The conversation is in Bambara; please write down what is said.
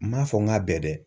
N ma fɔ n k'a bɛɛ dɛ